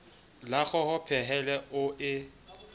la kgoho pehele o e